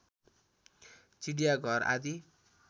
चिडियाघर आदि